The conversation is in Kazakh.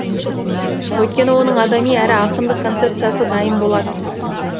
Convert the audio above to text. өйткені оның адами әрі ақындық концепсиясы дайын болатын